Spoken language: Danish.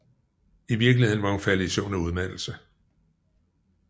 I virkeligheden var hun faldet i søvn af udmattelse